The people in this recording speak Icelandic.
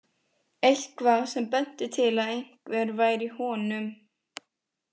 Eitthvað sem benti til að einhver væri í honum?